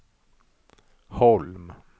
Holm